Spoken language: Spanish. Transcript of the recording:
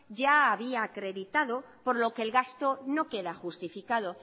ya había acreditado por lo que el gasto no queda justificado